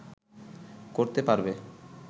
করতে পারবে